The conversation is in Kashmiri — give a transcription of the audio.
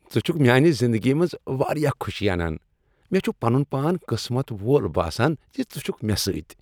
ژٕ چھکھ میانہ زندگی منز واریاہ خوشی انان۔ مےٚ چھ پنن پان قسمت وول باسان ز ژٕ چھکھ مےٚ سۭتۍ۔